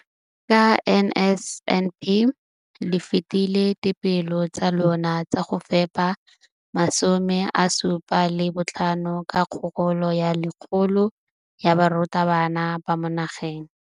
Ka NSNP le fetile dipeelo tsa lona tsa go fepa masome a supa le botlhano a diperesente ya barutwana ba mo nageng.